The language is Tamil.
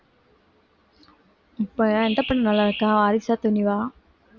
இப்ப எந்த படம் நல்லாருக்கா வாரிசா துணிவா